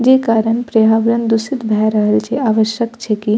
जे कारण पर्यावरण दूषित भेए रहल छै आवश्यक छै की --